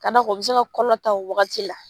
Ka da kan o bɛ se ka kɔnɔn ta o waagati la.